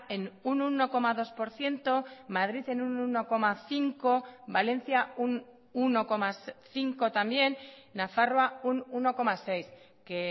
en un uno coma dos por ciento madrid en un uno coma cinco valencia un uno coma cinco también nafarroa un uno coma seis que